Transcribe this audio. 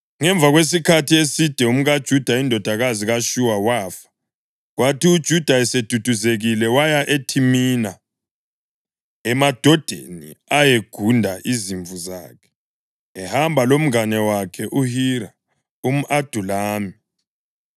Ngemva kwesikhathi eside umkaJuda, indodakazi kaShuwa wafa. Kwathi uJuda eseduduzekile waya eThimina, emadodeni ayegunda izimvu zakhe, ehamba lomngane wakhe uHira umʼAdulami.